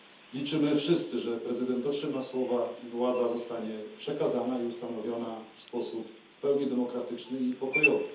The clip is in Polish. Liczymy wszyscy, że prezydent dotrzyma słowa i że władza zostanie przekazana i ustanowiona w sposób w pełni demokratyczny i pokojowy.